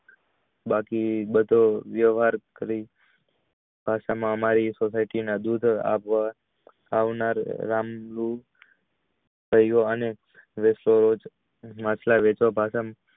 બાકી બધો વ્ય્વહાર કરી અમારી society ના આવનાર થયો અને માટલા વેચ વા